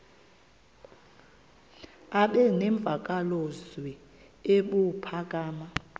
aba nemvakalozwi ebuphakama